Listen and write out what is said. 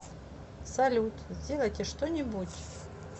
салют сделайте что нибудь